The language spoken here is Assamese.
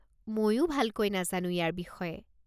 মইও ভালকৈ নাজানো ইয়াৰ বিষয়ে।